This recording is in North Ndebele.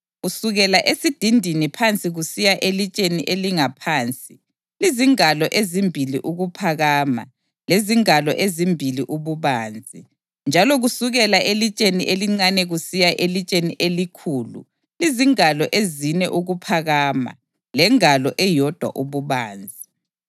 Kusukela esidindini phansi kusiya elitsheni elingaphansi lizingalo ezimbili ukuphakama lezingalo ezimbili ububanzi, njalo kusukela elitsheni elincane kusiya elitsheni elikhulu lizingalo ezine ukuphakama lengalo eyodwa ububanzi.